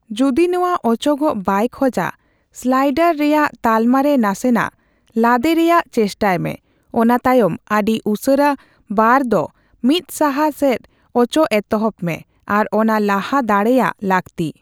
ᱡᱩᱫᱤ ᱱᱚᱣᱟ ᱚᱪᱚᱜᱚᱜ ᱵᱟᱭ ᱠᱷᱚᱡᱟ, ᱥᱞᱟᱭᱰᱟᱨ ᱨᱮᱭᱟᱜ ᱛᱟᱞᱢᱟᱨᱮ ᱱᱟᱥᱮᱱᱟᱜ ᱞᱟᱫᱮᱨᱮᱭᱟᱜ ᱪᱮᱥᱴᱟᱭᱢᱮ ᱚᱱᱟᱛᱟᱭᱚᱢ ᱟᱹᱰᱤ ᱩᱥᱟᱹᱨᱟ ᱵᱟᱨ ᱫᱚ ᱢᱤᱫᱥᱟᱦᱟ ᱥᱮᱫ ᱚᱪᱚᱜ ᱮᱛᱚᱦᱵᱽ ᱢᱮ, ᱟᱨ ᱚᱱᱟ ᱞᱟᱦᱟ ᱫᱟᱲᱮᱭᱟᱜ ᱞᱟᱹᱠᱛᱤ ᱾